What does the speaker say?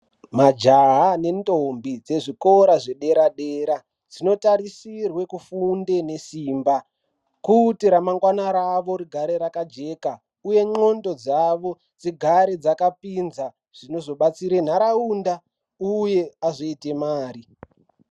Majaha nendombi dzezvikora zvedera-dera dzinotarisirwe kufunde nesimba kuti remangwana ravo rigare rakajeka, uye ndxondo dzavo dzigare dzakapinza zvinozobatsire ntaraunda, uye azoite mari.